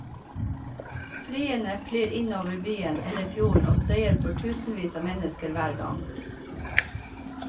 Flyene flyr inn over byen eller fjorden og støyer for tusenvis av mennesker hver gang.